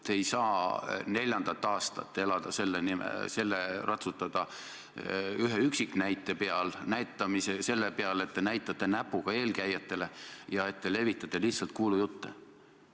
Te ei saa neljandat aastat ratsutada selle ühe üksiknäite peal, selle peal, et te näitate näpuga eelkäijatele ja levitate lihtsalt kuulujutte.